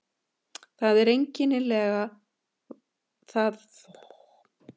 Það einkennilega var að Sveinbjörn hafði einmitt steingleymt þessu starfsheiti Kolbrúnar.